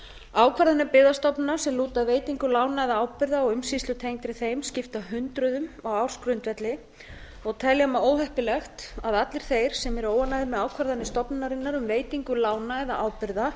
ákvarðanir byggðastofnunar sem lúta að veitingu lána eða ábyrgða og umsýslu tengdri þeim skipta hundruðum á ársgrundvelli og telja má óheppilegt að allir þeir sem eru óánægðir með ákvarðanir stofnunarinnar um veitingu lána eða ábyrgða